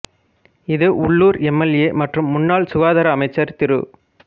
இது உள்ளூர் M L A மற்றும் முன்னாள் சுகாதார அமைச்சர் திரு